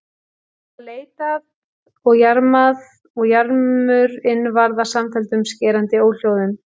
Það var leitað og jarmað og jarmur- inn varð að samfelldum skerandi óhljóðum.